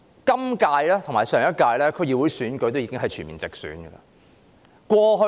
本屆和上屆區議會選舉已經全面直選。